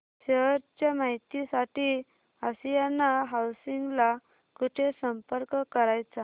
share च्या माहिती साठी आशियाना हाऊसिंग ला कुठे संपर्क करायचा